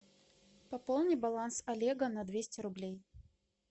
пополни баланс олега на двести рублей